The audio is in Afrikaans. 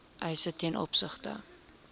eise ten opsigte